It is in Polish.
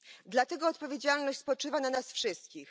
Dlatego odpowiedzialność spoczywa na nas wszystkich.